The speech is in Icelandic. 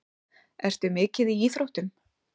Ertu mikið í íþróttum?